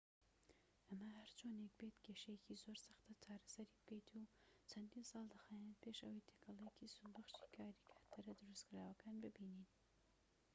ئەمە هەرچۆنێک بێت کێشەیەکی زۆر سەختە چارەسەری بکەیت و چەندین ساڵ دەخایەنێت پێش ئەوەی تێکەڵەیەکی سوودبەخشی کارتیاکەرە دروستکراوەکان ببینن